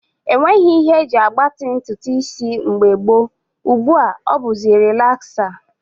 E nweghị ihe e ji agbatị ntụtụ isi mgbe gboo, ugbu a ọ bụzi relaksa